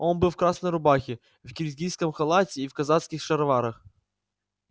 он был в красной рубахе в киргизском халате и в казацких шароварах